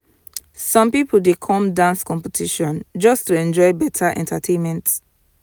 some people dey come dance competition just to enjoy better entertainment.